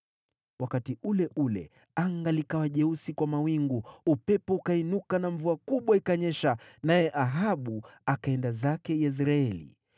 Wakati ule ule anga likawa jeusi kwa mawingu, upepo ukainuka na mvua kubwa ikanyesha, naye Ahabu akaenda zake Yezreeli.